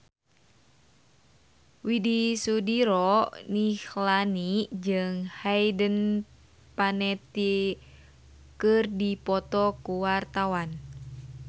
Widy Soediro Nichlany jeung Hayden Panettiere keur dipoto ku wartawan